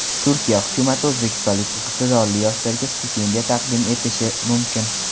Turkiya hukumati o‘zbekistonlik iqtidorli yoshlarga stipendiya taqdim etishi mumkin.